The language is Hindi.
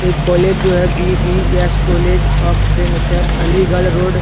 एक कॉलेज जो है बीडीएस कॉलेज ऑफ़ क्रिमिसेल अलीगढ़ रोड --